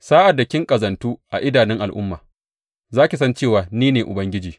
Sa’ad da ki ƙazantu a idanun al’umma, za ki san cewa ni ne Ubangiji.’